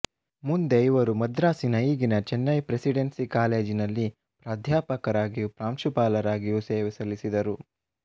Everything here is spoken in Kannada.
ಮುಂದೆ ಇವರು ಮದ್ರಾಸಿನ ಈಗಿನ ಚೆನ್ನೈ ಪ್ರೆಸಿಡೆನ್ಸಿ ಕಾಲೇಜಿನಲ್ಲಿ ಪ್ರಾಧ್ಯಾಪಕರಾಗಿಯೂ ಪ್ರಾಂಶುಪಾಲರಾಗಿಯೂ ಸೇವೆ ಸಲ್ಲಿಸಿದರು